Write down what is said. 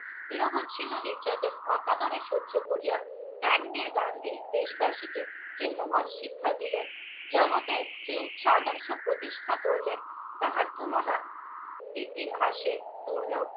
নিরবচ্ছিন্ন নির্যাতন অকাতরে সহ্য করিয়া ত্যাগ দিয়া গান্ধী দেশবাসীকে যে মহৎ শিক্ষা দিলেন জগতে যে উচ্চাদর্শ প্রতিষ্ঠা করিলেন তাহার তুলনা ইতিহাসে দুর্লভ।